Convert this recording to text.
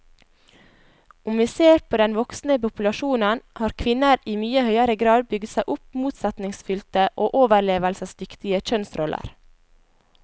Om vi ser på den voksne populasjonen, har kvinner i mye høyere grad bygd seg opp motsetningsfylte og overlevelsesdyktige kjønnsroller.